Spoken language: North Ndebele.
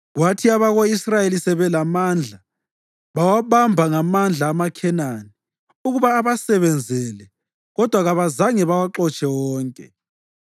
Kwathi abako-Israyeli sebelamandla bawabamba ngamandla amaKhenani ukuba abasebenzele kodwa kabazange bawaxotshe wonke.